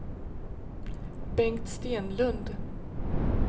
Bengt Stenlund